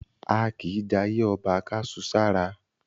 A kìí jayé ọba ká su sára.